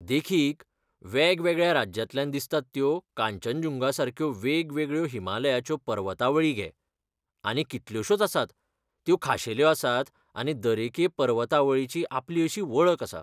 देखीक, वेगवेगळ्या राज्यांतल्यान दिसतात त्यो कांचनजुंगासारक्यो वेगवेगळ्यो हिमालयाच्यो पर्वतावळी घे, आनीक कितल्योशोच आसात, त्यो खाशेल्यो आसात आनी दरेके पर्वतावळीची आपली अशी वळख आसा.